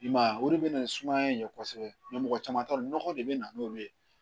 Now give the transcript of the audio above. I m'a ye o de bɛ na ni sumaya in ye kosɛbɛ mɔgɔ caman t'a dɔn nɔgɔ de bɛ na n'olu ye